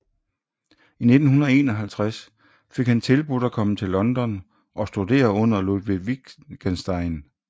I 1951 fik han tilbudt at komme til London og studere under Ludwig Wittgenstein